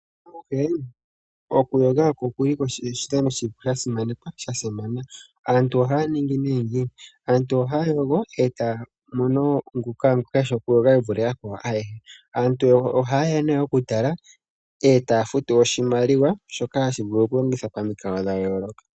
Mopaife oku yoga okwo oshidhano sha simanekwa. Aantu ohaya yogo etaya mono ngoka eshi oku yoga ye vule yakwawo ayehe, aantu oha yeya oku tala taya futu oshimaliwa shono hashi vulu kulongithwa pamikalo dha yooloka.